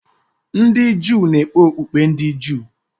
Ndị Juu na-ekpe okpukpe ndị Juu.